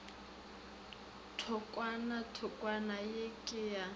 thokwana thokwana ye ke ya